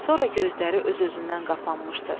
Sonra gözləri öz-özündən qapanmışdı